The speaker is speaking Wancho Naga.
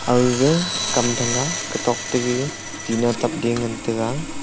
aaga kam thang a katok gaga tina tap de ngan taiga.